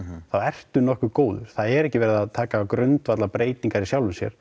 þá ertu nokkuð góður það er ekki verið að taka grundvallarbreytingar í sjálfu sér